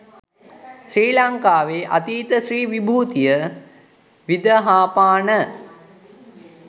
ශ්‍රී ලංකාවේ අතීත ශ්‍රී විභූතිය විදහාපාන